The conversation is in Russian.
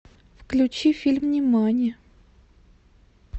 включи фильм нимани